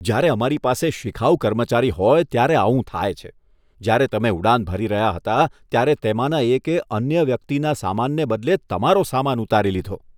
જ્યારે અમારી પાસે શિખાઉ કર્મચારી હોય ત્યારે આવું થાય છે. જ્યારે તમે ઉડાન ભરી રહ્યા હતા ત્યારે તેમાંના એકે અન્ય વ્યક્તિના સમાનને બદલે તમારો સમાન ઉતારી લીધો.